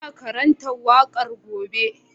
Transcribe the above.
Ina karanta waƙar gobe